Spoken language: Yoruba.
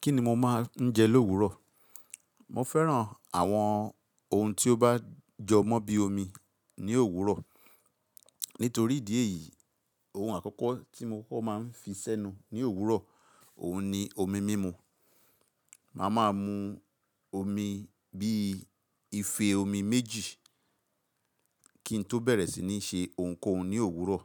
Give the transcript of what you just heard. Kí ni mo máa ń jẹ lówuró? Mo fẹ́ràn àwọn ohun tí ó bá jọ mọ́ bí i omi ní òwúrọ̀. Nítorí ìdí èyí, ohun àkọ́kọ́ tí mo máa ń fi sẹ́nu ní òwúrọ̀, òun ni omi mímu. Máa máa mu omi bí i ife omi méjì kí n tó bẹ̀rẹ̀ sí ní ṣe ohunkóhun ní òwúrọ̀.